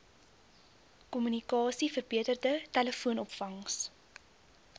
kommunikasie verbeterde telefoonopvangs